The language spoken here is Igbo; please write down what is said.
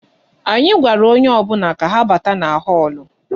Anyị gwara onye ọbụla ka ha bata na họ́ọ̀lụ̀